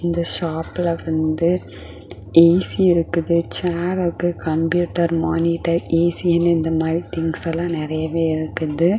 இந்த ஷாப்ல வந்து ஏசி இருக்குது சேர் இருக்கு கம்ப்யூட்டர் மானிட்டர் ஏசி ன்னு இந்த மாதிரி திங்ஸ் எல்லா நிறையவேஇருக்குது.